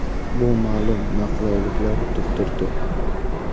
Bu ma’lum noqulayliklar tug‘dirdi.